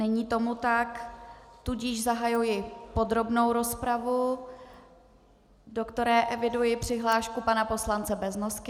Není tomu tak, tudíž zahajuji podrobnou rozpravu, do které eviduji přihlášku pana poslance Beznosky.